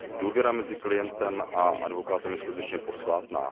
Důvěra mezi klientem a advokátem je skutečně posvátná.